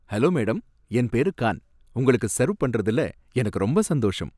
Hello madam, என் பேரு கான். உங்களுக்கு செர்வ் பண்றறதுல எனக்கு ரொம்ப சந்தோஷம்.